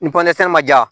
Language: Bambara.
Ni ma ja